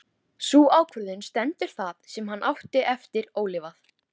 Sú ákvörðun stendur það sem hann á eftir ólifað.